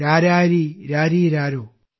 രാരാരീ രാരീരാരോ